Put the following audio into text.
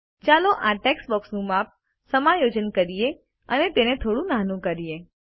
ચાલો આ ટેક્સ્ટ બોક્સનું માપ સમાયોજન કરીએ અને તેને થોડુ નાનું કરીએ